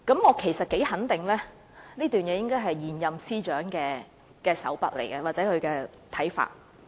我幾可肯定，有關內容是出自現任司長的手筆或是他的看法。